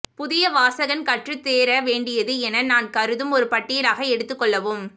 புதிய வாசகன் கற்றுத் தேர வேண்டியது என நான் கருதும் ஒரு பட்டியலாக எடுத்துக் கொள்ளவும்